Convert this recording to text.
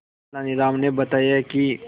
तेनालीराम ने बताया कि